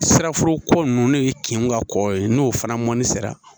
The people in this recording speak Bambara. Siraforoko ninnu ne ye kinw ka kɔ ye n'o fana mɔnni sera